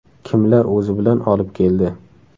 Kimlar o‘zi bilan olib keldi?